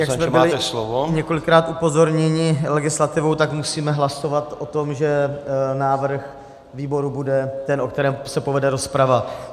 Jak jsme byli několikrát upozorněni legislativou, tak musíme hlasovat o tom, že návrh výboru bude ten, o kterém se povede rozprava.